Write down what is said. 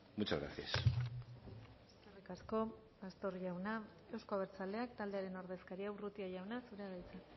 muchas gracias eskerrik asko pastor jauna euzko abertzaleak taldearen ordezkaria urrutia jauna zurea da hitza